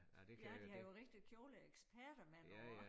Ja de har jo rigtige kjoleeksperter med nu og